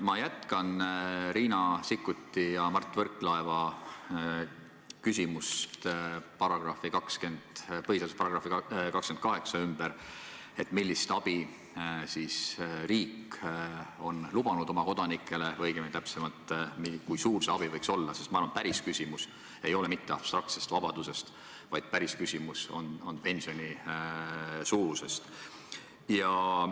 Ma jätkan Riina Sikkuti ja Mart Võrklaeva küsimust põhiseaduse §-ga 28 seoses, et millist abi on riik oma kodanikele lubanud või õigemini, kui suur see abi võiks olla, sest ma arvan, et päris küsimus ei ole mitte abstraktses vabaduses, vaid päris küsimus on pensioni suuruses.